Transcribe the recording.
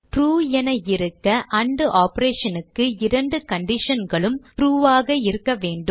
true என இருக்க and operation க்கு இரண்டு conditionகளும் ட்ரூ ஆக இருக்க வேண்டும்